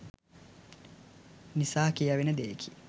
නිසා කියැවෙන දෙයකි.